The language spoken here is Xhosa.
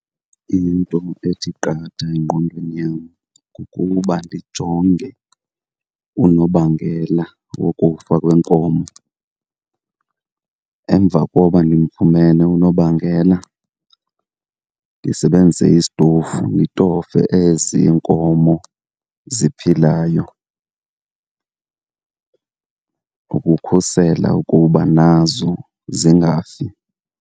Into ethi qatha engqondweni yam kukuba ndijonge unobangela wokufa kwenkomo. Emva koba ndimfumene unobangela ndisebenzise isitofu nditofe ezi iinkomo ziphilayo ukukhusela ukuba nazo zingafi.